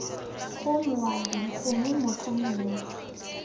bgo moabi gongwe motho mongwe